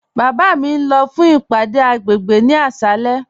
Baba mi n lọ fún ìpàdé agbègbè ni àṣàlẹ̀.